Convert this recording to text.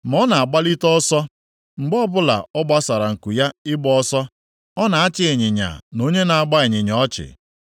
Ma ọ na-agbalite ọsọ. Mgbe ọbụla ọ gbasara nku ya ịgba ọsọ, ọ na-achị ịnyịnya na onye na-agba ịnyịnya ọchị.